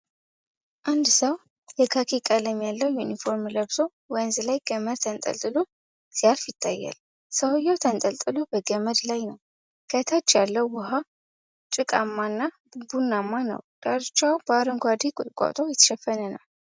አንድ ሰው የካኪ ቀለም ያለው ዩኒፎርም ለብሶ ወንዝ ላይ ገመድ ተንጠልጥሎ ሲያልፍ ይታያል። ሰውዬው ተገልብጦ በገመድ ላይ ነው። ከታች ያለው ውሃ ጭቃማና ቡናማ ነው። ዳርቻው በአረንጓዴ ቁጥቋጦ የተሸፈነ ነው፡፡